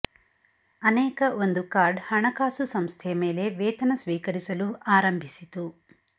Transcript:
ಅನೇಕ ಒಂದು ಕಾರ್ಡ್ ಹಣಕಾಸು ಸಂಸ್ಥೆಯ ಮೇಲೆ ವೇತನ ಸ್ವೀಕರಿಸಲು ಆರಂಭಿಸಿತು